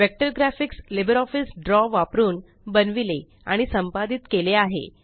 vector graphics LibreOffice Draw वापरून बनविले आणि संपादित केले आहे